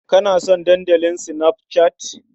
Kana son Dandalin Snapchat?